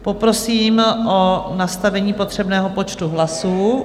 Poprosím o nastavení potřebného počtu hlasů.